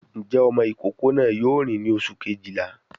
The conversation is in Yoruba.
Ǹjẹ́ ọmọ ìkókó náà yóò rìn ní oṣù Kejìlá?